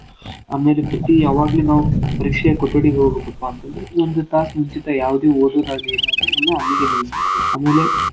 ಆಮೇಲೆ ಪ್ರತಿ ಯಾವಾಗ್ಲಿ ನಾವ್ ಪರೀಕ್ಷೇಯ ಕೊಠಡಿಗೆ ಹೋಬೆಕ್ಪಾ ಅಂತಂದ್ರ ಒಂದ್ ತಾಸ್ ಮುಂಚಿತ ಯಾವದೆೇ ಓದೋದಾಗ್ಲಿ ಏನ್ ಆಗ್ಲಿ ಎಲ್ಲಾ ಅಲ್ಲೀಗೆ ನಿಲ್ಸ್ಬೇಕು.